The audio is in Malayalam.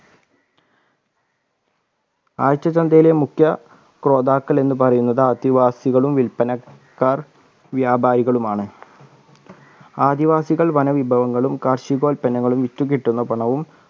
ആഴ്ച ചന്തയിലെ മുക്ക്യ ക്രോതാക്കൾ എന്ന് പറയുന്നത് ആദിവാസികളും വിൽപനക്കാർ വ്യാപാരികളുമാണ് ആദിവാസികൾ വനവിഭവങ്ങളും കാർഷികോൽപന്നങ്ങളും വിറ്റുകിട്ടുന്ന പണവും